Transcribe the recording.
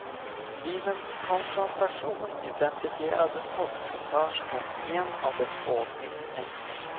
Vid en konfrontation identifierade postkassörskan en av de två misstänkta.